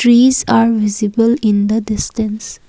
trees are visible in the distance.